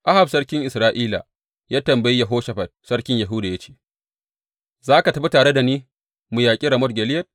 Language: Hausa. Ahab sarkin Isra’ila ya tambayi Yehoshafat sarkin Yahuda ya ce, Za ka tafi tare da ni mu yaƙi Ramot Gileyad?